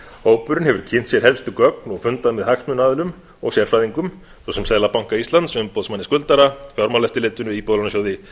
hópurinn hefur kynnt sér helstu gögn og fundað með hagsmunaaðilum og sérfræðingum svo sem seðlabanka íslands umboðsmanni skuldara fjármálaeftirlitinu íbúðalánasjóði